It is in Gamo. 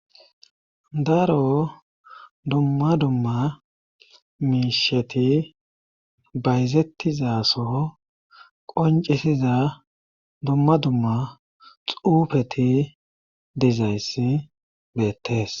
Daro dumma dumma miisheti bayzettizaso qoncisiza dumma dumma xuufeti dizayssi beettes